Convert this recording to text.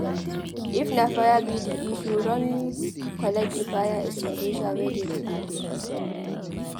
if na fire be di issue run collect di fire extinguisher wey dey di building